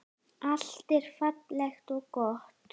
Allt var fallegt og gott.